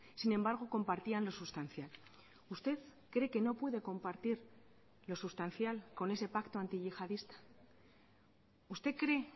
sin embargo compartían lo sustancial usted cree que no puede compartir lo sustancial con ese pacto antiyihadista usted cree